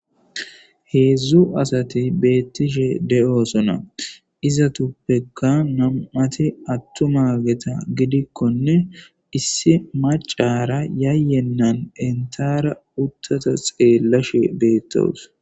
Heedzdzu asati beettishe de7oosona. Izatuppekka nam7ati attumageta gidikkonne issi maccaara yayyennan enttaara uttata xeellashe beettaws.